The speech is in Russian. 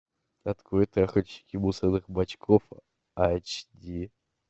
открой трахальщики мусорных бачков эйч ди